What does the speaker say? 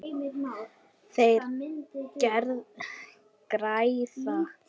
Þeir græða.